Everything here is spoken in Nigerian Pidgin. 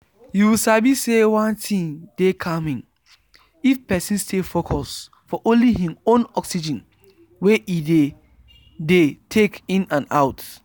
you sabi say one thing dey calming if person stay focus for only hin own oxygen wey e dey dey take in and out.